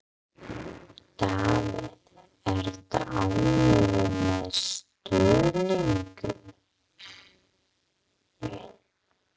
Davíð, ertu ánægður með stuðninginn?